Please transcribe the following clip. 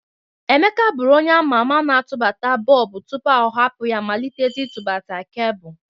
Emeka bụru onye ama ama n'atụbata bọlbụ tụpụ ọ hapụ ya malịtezie ịtụgbata kebụl.